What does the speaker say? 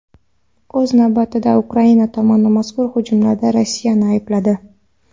O‘z navbatida, Ukraina tomoni mazkur hujumlarda Rossiyani aybladi .